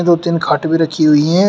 दो तीन खाट भी रखी हुई हैं।